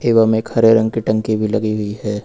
एवं एक हरे रंग की टंकी भी लगी हुई है।